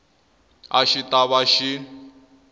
a xi ta va xi